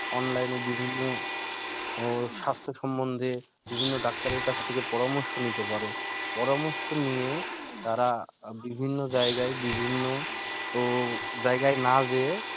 online বিভিন্ন স্বাস্থ্য সম্বন্ধে বিভিন্ন doctor এর কাছ থেকে পারমর্শ নিতে পারে পরামর্শ নিয়ে তারা বিভিন্ন জায়গা বিভিন্ন জায়গা না যেয়ে